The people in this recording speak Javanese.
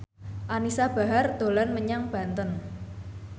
Anisa Bahar dolan menyang Banten